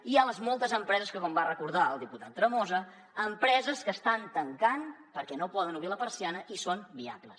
i les moltes empreses que com va recordar el diputat tremosa estan tancant perquè no poden obrir la persiana i són viables